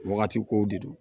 Wagati kow de don